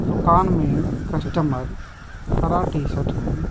दुकान में कस्टमर हरा टी-शर्ट में --